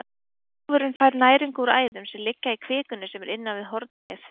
Hófurinn fær næringu úr æðum sem liggja í kvikunni sem er innan við hornlagið.